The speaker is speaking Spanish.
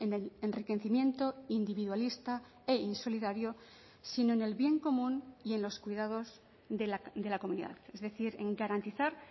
el enriquecimiento individualista e insolidario sino en el bien común y en los cuidados de la comunidad es decir en garantizar